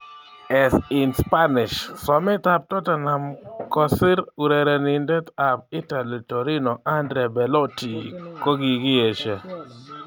(AS - in Spanish) Somet ab Tottenham kosir urerenindet ab Italy Torino Andrea Beloti kokikiesho.